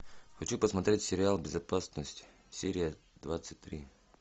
хочу посмотреть сериал безопасность серия двадцать три